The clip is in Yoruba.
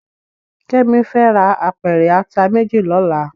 Kemi fè rá ápèrè àtá méjí lòlá